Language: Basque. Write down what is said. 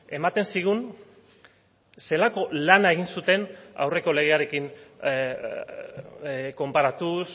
ematen zigun zelako lana egin zuten aurreko legearekin konparatuz